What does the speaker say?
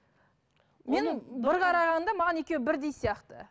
мен бір қарағанда маған екеуі бірдей сияқты